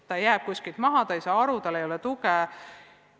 Ta jääb milleski maha, ta ei saa aru, tal ei ole tuge.